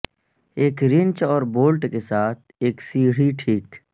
ایک رنچ اور بولٹ کے ساتھ ایک سیڑھی ٹھیک